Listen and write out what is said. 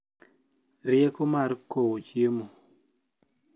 rieko mar kowo chiemo